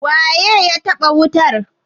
waye ya taba wutar?